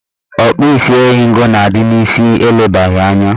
Ọkpụisieringo na-adị n'isi elebaghị anya